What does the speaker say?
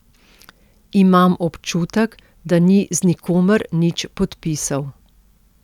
Imam občutek, da ni z nikomer nič podpisal.